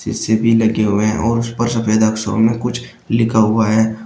AC भी लगे हुए और उस पर सफ़ेद अक्षरों में कुछ लिखा हुआ है।